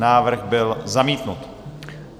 Návrh byl zamítnut.